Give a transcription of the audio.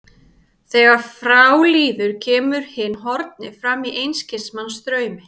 Þegar frá líður kemur hinn horfni fram í einskis manns draumi.